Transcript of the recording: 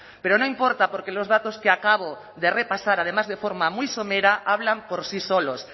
pero no importa porque los datos que acabo de repasar además de forma muy somera hablan por sí solos